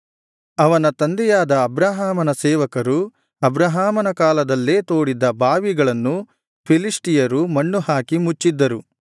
ಅವನ ತಂದೆಯಾದ ಅಬ್ರಹಾಮನ ಸೇವಕರು ಅಬ್ರಹಾಮನ ಕಾಲದಲ್ಲೇ ತೋಡಿದ್ದ ಬಾವಿಗಳನ್ನು ಫಿಲಿಷ್ಟಿಯರು ಮಣ್ಣುಹಾಕಿ ಮುಚ್ಚಿದ್ದರು